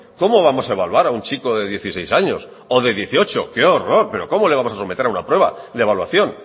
cómo vamos a evaluar a un chico de dieciséis años o de dieciocho qué horror pero cómo le vamos a someter a una prueba de evaluación